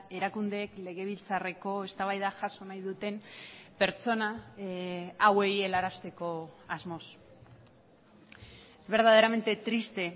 erakundeek legebiltzarreko eztabaida jaso nahi duten pertsona hauei helarazteko asmoz es verdaderamente triste